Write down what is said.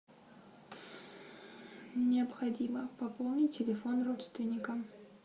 необходимо пополнить телефон родственникам